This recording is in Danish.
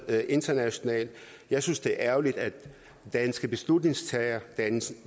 internationalt jeg synes det er ærgerligt at danske beslutningstagere danske